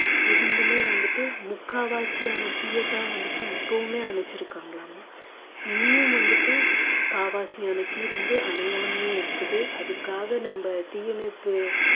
இருந்துமே வந்துட்டு முக்காவாசியான தீயைத்தான் வந்துட்டு இப்பவுமே அணைச்சிருக்காங்கலாமாம் இனியும் வந்துட்டு காவாசியான தீ வந்து அணையாமையே இருக்குது அதுக்காக நம்ம தீயணைப்பு